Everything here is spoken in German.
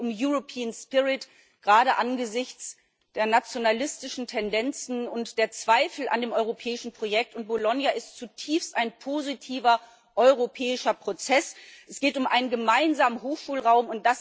Es geht um gerade angesichts der nationalistischen Tendenzen und der Zweifel an dem europäischen Projekt, und Bologna ist ein zutiefst positiver europäischer Prozess. Es geht um einen gemeinsamen Hochschulraum.